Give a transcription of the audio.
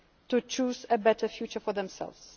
in sovereign states to choose a better